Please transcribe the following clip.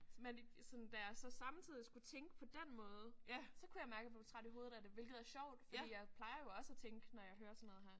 Men sådan da jeg så samtidig skulle tænke på den måde så kunne jeg mærke jeg blev træt i hovedet af det hvilket er sjovt fordi jeg plejer jo også at tænke når jeg hører sådan noget her